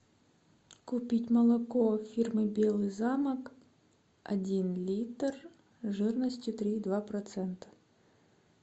купить молоко фирмы белый замок один литр жирностью три и два процента